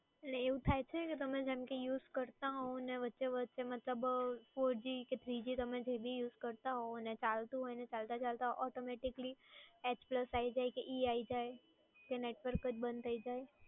એટલે એવું થાય છે કે તમે use કરતા હોવ અને વચ્ચે વચ્ચે મતલબ four g કે three g તમે જે ભી use કરતા હોવ અને ચાલતુ હોય અને ચાલતાં ચાલતાં ઓટોમેટિકલી એચ પ્લસ આવી જાય કે ઇ આવી જાય કે network જ બંધ થઈ જાય